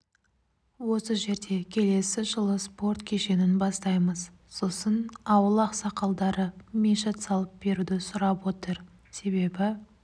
осы жерде келесі жылы спорт кешенін бастаймыз сосын ауыл ақсақалдары мешіт салып беруді сұрап отыр себебі